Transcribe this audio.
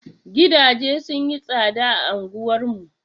Gidaje sun yi tsaɗa a anguwar mu.